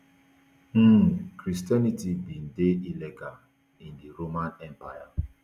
um christianity bin dey illegal in di roman empire